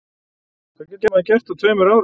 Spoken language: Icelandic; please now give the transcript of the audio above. Hvað getur maður gert á tveimur árum?